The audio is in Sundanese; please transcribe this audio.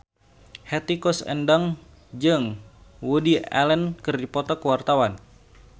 Hetty Koes Endang jeung Woody Allen keur dipoto ku wartawan